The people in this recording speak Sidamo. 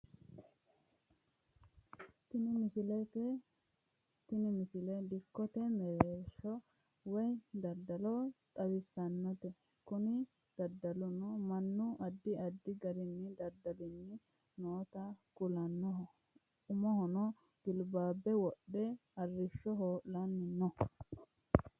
tini misile dikkote mereersha woye daddalo xawissanote kuni daddaluno mannu addi addi garinni daddalnni nota kulannoho umohono gilbabbbe wodhe arrishsho hoo'lanni no